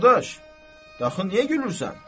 Qardaş, axı niyə gülürsən?